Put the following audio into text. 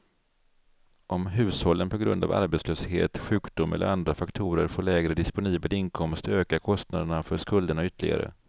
Om hushållen på grund av arbetslöshet, sjukdom eller andra faktorer får lägre disponibel inkomst ökar kostnaderna för skulderna ytterligare.